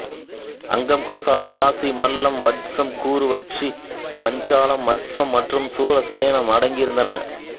அங்கம் கோசலம் காசி மல்லம் வத்சம் குரு வஜ்ஜி பாஞ்சாலம் மத்சம் மற்றும் சூரசேனம் அடங்கியிருந்தன